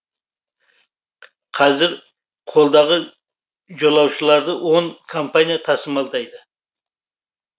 қазір қолдағы жолаушыларды он компания тасымалдайды